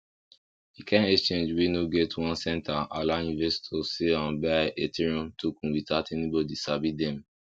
the kind exchange wey no get one center allow investors sell and buy ethereum token without anybody sabi dem